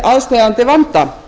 aðsteðjandi vanda